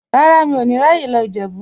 Rárá, mi ò ní ráyè lọ Ìjẹ̀bú.